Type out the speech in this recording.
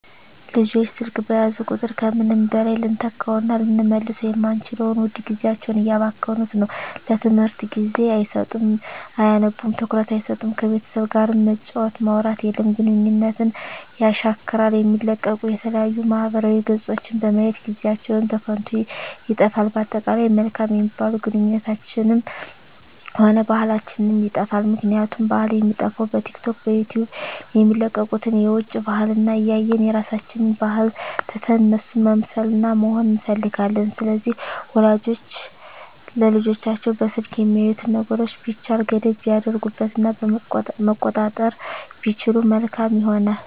ልጆች ስልክ በያዙ ቁጥር ከምንም በላይ ልንተካዉእና ልንመልሰዉ የማንችለዉን ዉድ ጊዜያቸዉን እያባከኑት ነዉ ለትምህርት ጊዜ አይሰጡም አያነቡም ትኩረት አይሰጡም ከቤተሰብ ጋርም መጫወት ማዉራት የለም ግንኙነትን የሻክራል የሚለቀቁ የተለያዩ ማህበራዊ ገፆችን በማየት ጊዜአችን በከንቱ ይጠፋል በአጠቃላይ መልካም የሚባሉ ግንኙነታችንንም ሆነ ባህላችንንም ይጠፋል ምክንያቱም ባህል የሚጠፋዉ በቲክቶክ በዩቲዩብ የሚለቀቁትን የዉጭ ባህልን እያየን የራሳችንን ባህል ትተን እነሱን መምሰልና መሆን እንፈልጋለን ስለዚህ ወላጆች ለልጆቻቸዉ በስልክ የሚያዩትን ነገሮች ቢቻል ገደብ ቢያደርጉበት እና መቆጣጠር ቢችሉ መልካም ይሆናል